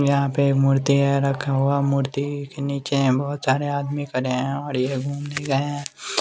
यहाँ पे एक मूर्ति अ रखा हुआ मूर्ति के नीचे अ बहुत सारे आदमी खड़े हैं और ये घूमने गए हैं ।